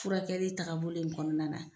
Furakɛli tagabolo in kɔnɔna na,